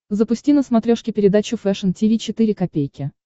запусти на смотрешке передачу фэшн ти ви четыре ка